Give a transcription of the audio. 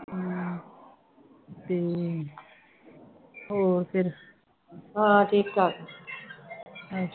ਹਮ ਤੇ ਹੋਰ ਫਿਰ